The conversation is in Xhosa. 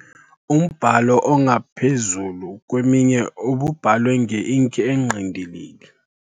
Umbhalo ongaphezu kweminye ububhalwe ngeinki engqindilili.